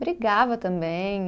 Brigava também.